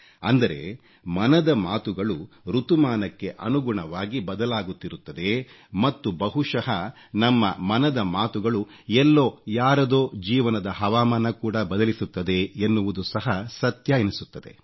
ಅಂದರೆ ಮನದ ಮಾತುಗಳು ಋತುಮಾನಕ್ಕೆ ಅನುಗುಣವಾಗಿ ಬದಲಾಗುತ್ತಿರುತ್ತದೆ ಮತ್ತು ಬಹುಶಃ ನಮ್ಮ ಮನದ ಮಾತುಗಳು ಎಲ್ಲೋ ಯಾರದೋ ಜೀವನದ ಹವಾಮಾನ ಕೂಡ ಬದಲಿಸುತ್ತದೆ ಎನ್ನುವುದು ಸಹ ಸತ್ಯ ಎನಿಸುತ್ತದೆ